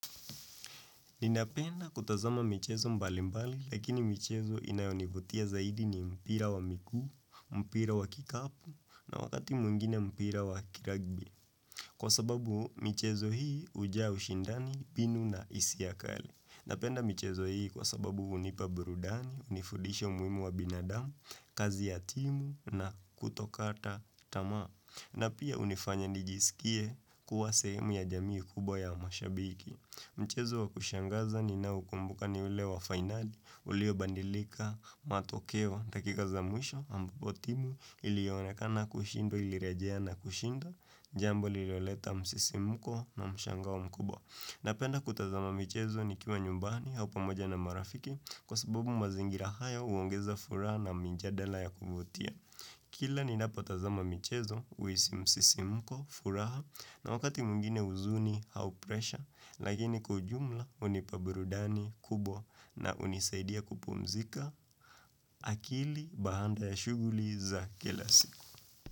Ninapenda kutazama michezo mbali mbali, lakini michezo inayonivutia zaidi ni mpira wa miguu, mpira wa kikapu, na wakati mwingine mpira wa kiragbi. Kwa sababu, michezo hii hujaa ushindani, mbinu na hisia kali. Napenda michezo hii kwa sababu hunipa burudani, hunifudisha umuhimu wa binadamu, kazi ya timu na kutokata tamaa. Na pia hunifanya nijisikie kuwa sehemu ya jamii kubwa ya mashabiki. Mchezo wa kushangaza ninaokumbuka ni ule wa finali, uliobandilika, matokeo, dakika za mwisho, ambapo timu, iliyoonekana kushindwa, ilirejea na kushinda, jambo lililoleta msisimko na mshangao mkubwa. Napenda kutazama michezo nikiwa nyumbani au pamoja na marafiki kwa sababu mazingira haya huongeza furaha na mijadala ya kuvutia. Kila ninapo tazama michezo, huhisi msisimko, furaha, na wakati mwingine huzuni au presha, lakini kwa ujumla hunipa burudani kubwa na hunisaidia kupumzika akili baada ya shughuli za kila siku.